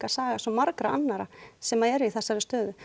saga svo margra annarra sem eru í þessari stöðu